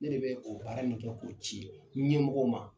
Ne de bɛ o baara nin kɛ k'o ci ɲɛmɔgɔw ma.